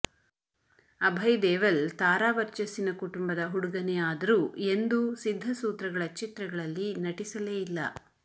ಅಭಯ್ ದೇವಲ್ ತಾರಾ ವರ್ಚಸ್ಸಿನ ಕುಟುಂಬದ ಹುಡುಗನೇ ಆದರೂ ಎಂದೂ ಸಿದ್ಧಸೂತ್ರಗಳ ಚಿತ್ರಗಳಲ್ಲಿ ನಟಿಸಲೇ ಇಲ್ಲ